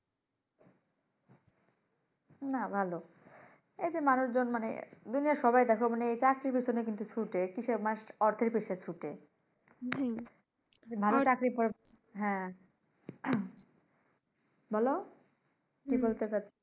না ভালো এই যে মানুষ জন দুনিয়ার সবাই দেখো মানি এই যে চাকরির পিছনে কিন্তু ছুটে। কিসের মানুষ অর্থের পিছে ছুটে না হলে চাকরি পরে হ্যাঁ বলো কি বলতে চাচ্ছো?